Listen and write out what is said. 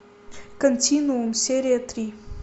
континуум серия три